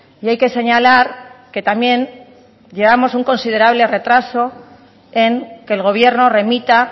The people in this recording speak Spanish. y hay que señalar que también llevamos un considerable retraso en que el gobierno remita